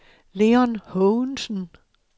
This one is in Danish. Leon Haagensen